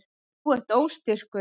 Þú ert óstyrkur.